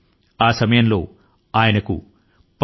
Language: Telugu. ఆ కాలం లో పి